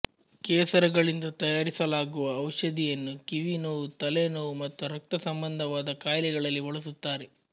ಕೇಸರಗಳಿಂದ ತಯಾರಿಸಲಾಗುವ ಔಷಧಿಯನ್ನು ಕಿವಿ ನೋವು ತಲೆ ನೋವು ಮತ್ತು ರಕ್ತ ಸಂಬಂಧವಾದ ಕಾಯಿಲೆಗಳಲ್ಲಿ ಬಳಸುತ್ತಾರೆ